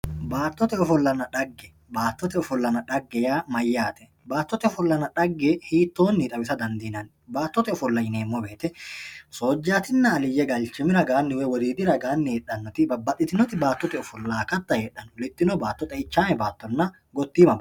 Baattote ofollanna dhagge, baattote ofollanna dhagge yaa mayate, baattote ofollanna dhagge hiittonni xawissa dandiinanni, baattote ofolla yineemmo woyte soojjatinna aliye zalchimi woyi wodiidi raganni heedhanoti babbaxitinoti baattote ofolla no, xeichame baattonna gottima baatto no.